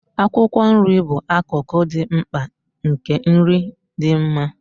Akwụkwọ nri bụ akụkụ dị mkpa nke nri dị mma.